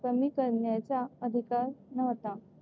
कमी करण्याचा अधिकार नव्हता.